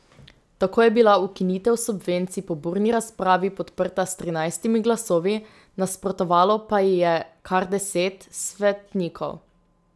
Tako je bila ukinitev subvencij po burni razpravi podprta s trinajstimi glasovi, nasprotovalo pa ji je kar deset svetnikov.